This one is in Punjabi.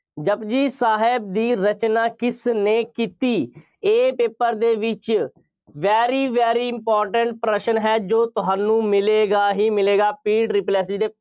ਜਪੁਜੀ ਸਾਹਿਬ ਦੀ ਰਚਨਾ ਕਿਸਨੇ ਕੀਤੀ। ਇਹ paper ਦੇ ਵਿੱਚ very very important ਪ੍ਰਸ਼ਨ ਹੈ। ਜੋ ਤੁਹਾਨੂੰ ਮਿਲੇਗਾ ਹੀ ਮਿਲੇਗਾ। PSSSB ਦੇ